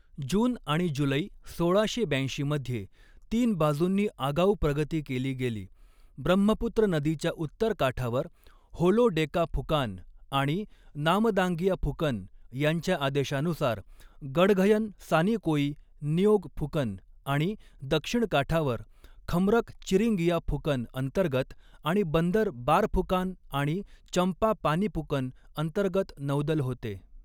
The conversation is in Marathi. जून आणि जुलै सोळाशे ब्याऐंशी मध्ये तीन बाजूंनी आगाऊ प्रगती केली गेली, ब्रह्मपुत्र नदीच्या उत्तर काठावर होलो डेका फुकान आणि नामदांगिया फुकन यांच्या आदेशानुसार गढ़गयन सानिकोई निओग फुकन आणि दक्षिण काठावर खमरक चिरिंगिया फुकन अंतर्गत आणि बंदर बारफुकान आणि चंपा पानिपुकन अंतर्गत नौदल होते.